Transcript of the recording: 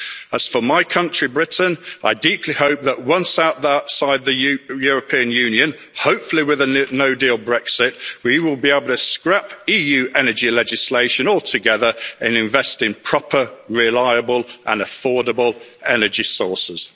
As for my country, Britain, I deeply hope that once outside the European Union, hopefully with a no deal Brexit, we will be able to scrap EU energy legislation altogether and invest in proper reliable and affordable energy sources.